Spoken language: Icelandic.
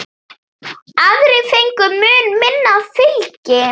Aðrir fengu mun minna fylgi.